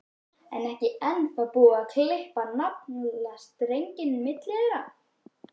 Er ekki ennþá búið að klippa á naflastrenginn milli þeirra?